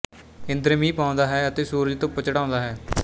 ਇੰਦਰ ਮੀਂਹ ਪਾਉਂਦਾ ਹੈ ਅਤੇ ਸੂਰਜ ਧੁੱਪ ਚੜ੍ਹਾਉਂਦਾ ਹੈ